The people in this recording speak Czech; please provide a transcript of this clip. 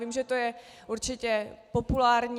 Vím, že to je určité populární.